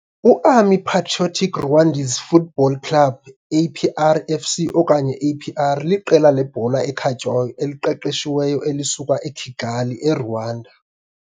UArmée Patriotique Rwandaise Football Club, APR FC okanye APR, liqela lebhola ekhatywayo eliqeqeshiweyo elisuka eKigali eRwanda.